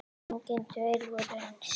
Engir tveir voru eins.